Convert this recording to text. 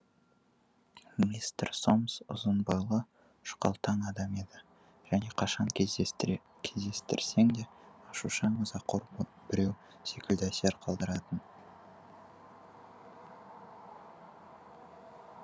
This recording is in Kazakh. мистер сомс ұзын бойлы жұқалтаң адам еді және қашан кездестіре кездестірсең де ашушаң ызақор біреу секілді әсер қалдыратын